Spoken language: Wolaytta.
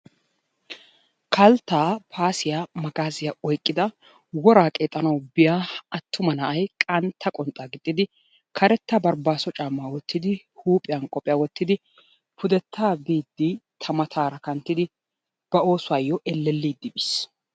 Kalttaa, paasiya, magaaziya oyqqida woraa qeexanawu biya attuma na'ay qantta qonxxaa gixxidi, karetta barbbaaso caammaa wottidi, huuphiyan qophiya wottidi pudettaa biiddi ta mataara kanttidi ba oosuwayyo ellelliiddi biis.